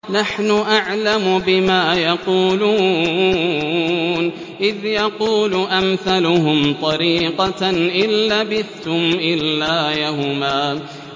نَّحْنُ أَعْلَمُ بِمَا يَقُولُونَ إِذْ يَقُولُ أَمْثَلُهُمْ طَرِيقَةً إِن لَّبِثْتُمْ إِلَّا يَوْمًا